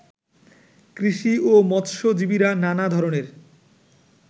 কৃষি ও মৎস্যজীবীরা নানা ধরনের